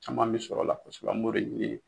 Caman bɛ sɔrɔ la kosɛbɛ an b'o de ɲini.